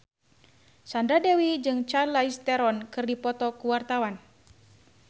Sandra Dewi jeung Charlize Theron keur dipoto ku wartawan